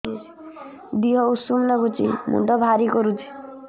ଦିହ ଉଷୁମ ନାଗୁଚି ମୁଣ୍ଡ ଭାରି କରୁଚି